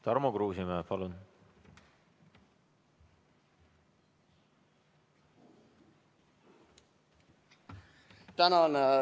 Tarmo Kruusimäe, palun!